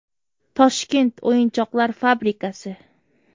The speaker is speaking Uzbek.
Toshkent o‘yinchoqlar fabrikasi.